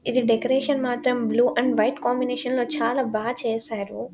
ఇది డెకరేషన్ మాత్రం blue and white combination లో చాలా బా చేసారు.